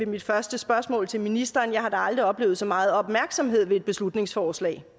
mit første spørgsmål til ministeren jeg har da aldrig oplevet så meget opmærksomhed ved et beslutningsforslag